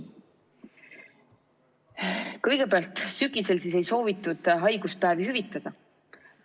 Kõigepealt sügisel ei soovitud haiguspäevi hüvitada.